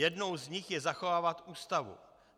Jednou z nich je zachovávat Ústavu.